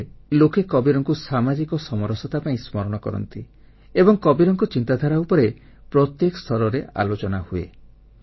ଏଠାରେ ଲୋକେ କବୀରଙ୍କୁ ସାମାଜିକ ସମାନତା ପାଇଁ ସ୍ମରଣ କରନ୍ତି ଏବଂ କବୀରଙ୍କ ଚିନ୍ତାଧାରା ଉପରେ ପ୍ରତ୍ୟେକ ସ୍ତରରେ ଆଲୋଚନା ହୁଏ